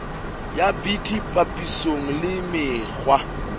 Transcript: ya bt papisong le mekgwa